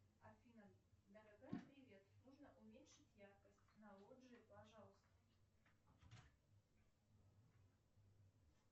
афина дорогая привет нужно уменьшить яркость на лоджии пожалуйста